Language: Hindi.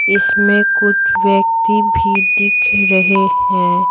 इसमें कुछ व्यक्ति भी दिख रहे हैं।